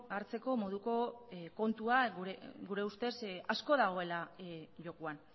hartzeko moduko kontua gure ustez asko dagoela jokoan